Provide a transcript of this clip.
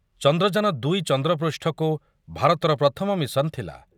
ଚନ୍ଦ୍ରଯାନ ଦୁଇ ଚନ୍ଦ୍ରପୃଷ୍ଠକୁ ଭାରତର ପ୍ରଥମ ମିଶନ ଥିଲା ।